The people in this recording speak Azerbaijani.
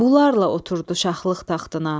Bunlarla oturdu şahlıq taxtına.